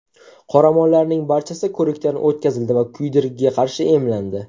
Qoramollarning barchasi ko‘rikdan o‘tkazildi va kuydirgiga qarshi emlandi.